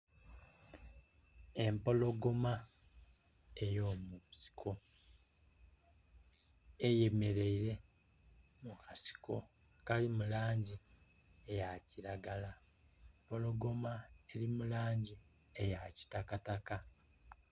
Empologoma ey'omusinko, eyemeleire mu kasiko akali mu langi eya kiragala, empologoma eri mu langi eya kitakataka.